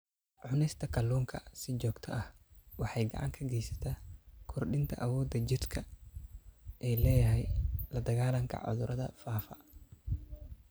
Cunista kalluunka si joogto ah waxay gacan ka geysataa kordhinta awoodda uu jidhku u leeyahay la-dagaallanka cudurrada faafa.